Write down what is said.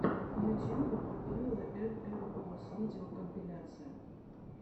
в ютюбе попьюла эм эм оус видеокомпиляция